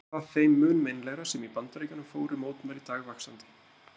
Var það þeim mun meinlegra sem í Bandaríkjunum fóru mótmæli dagvaxandi.